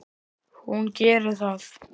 Hún gerir það.